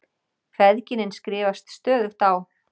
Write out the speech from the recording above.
Feðginin skrifast stöðugt á.